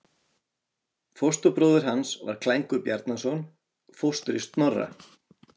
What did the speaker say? Fóstbróðir hans var Klængur Bjarnason, fóstri Snorra.